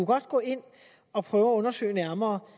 godt gå ind og prøve at undersøge nærmere